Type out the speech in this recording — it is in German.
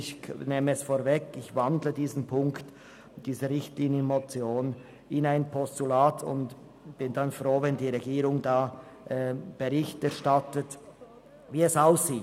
Ich nehme es vorweg und wandle diesen Punkt der Motion in ein Postulat um und bin froh, wenn die Regierung Bericht erstattet, wie es aussieht.